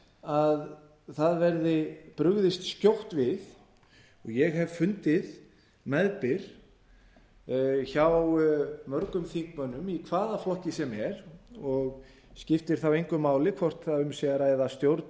að það verði brugðist skjótt við og ég hef fundið meðbyr hjá mörgum þingmönnum í hvaða flokki sem er og skiptir þá engu máli hvort um sé að ræða stjórn